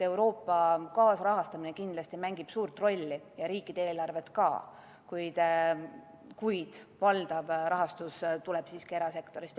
Euroopa kaasrahastamine kindlasti mängib suurt rolli, samuti riikide eelarved, kuid valdav rahastus tuleb siiski erasektorist.